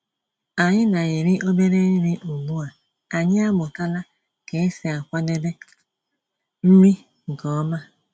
Ànyị́ ná-èrí òbérè nrí ugbu à ànyị́ àmụ̀tàlà kà ésí àkwàdébé nrí nkè ọ̀ma.